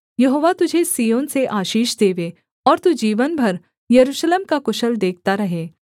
यहोवा तुझे सिय्योन से आशीष देवे और तू जीवन भर यरूशलेम का कुशल देखता रहे